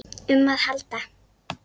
um að halda.